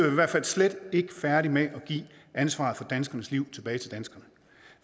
i hvert fald slet ikke færdige med at give ansvaret for danskernes liv tilbage til danskerne